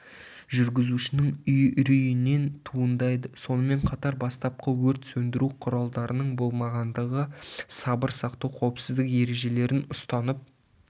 жүргізушінің үрейінен туындайды сонымен қатар бастапқы өрт сөндіру құралдарының болмағандығы сабыр сақтау қауіпсіздік ережелерін ұстанып